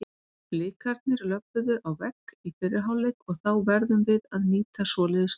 Blikarnir löbbuðu á vegg í fyrri hálfleik og þá verðum við að nýta svoleiðis stöðu.